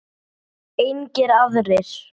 Engir aðrir?